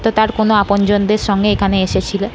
তো তার কোনো আপনজনদের সঙ্গে এখানে এসেছিলো।